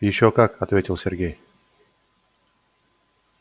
ещё как ответил сергей